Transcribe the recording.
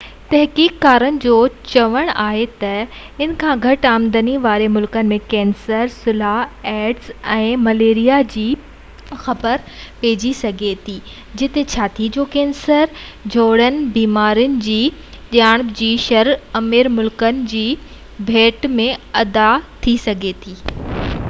اڳواڻ تحقيق ڪار جو چوڻ آهي تہ ان کان گهٽ آمدني واري ملڪن ۾ ڪينسر سلهہ ايڊز ۽ مليريا جي جلدي خبر پئجي سگهي ٿي جتي ڇاتي جو ڪينسر جهڙين بيمارين جي جياپي جي شرح امير ملڪن جي ڀيٽ ۾ اڌ ٿي سگهي ٿي